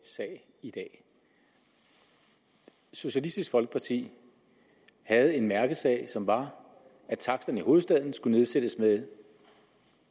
sag i dag socialistisk folkeparti havde en mærkesag som var at taksterne i hovedstaden skulle nedsættes med